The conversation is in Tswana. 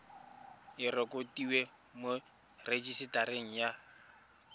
e rekotiwe mo rejisetareng ya